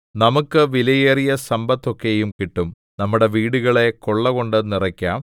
നമുക്ക് വിലയേറിയ സമ്പത്തൊക്കെയും കിട്ടും നമ്മുടെ വീടുകളെ കൊള്ളകൊണ്ട് നിറയ്ക്കാം